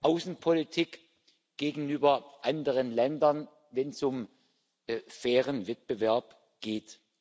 Außenpolitik gegenüber anderen Ländern, wenn es um fairen Wettbewerb geht.